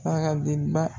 Saga denba